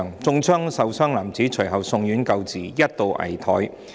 中槍受傷男子隨後送院救治，一度危殆。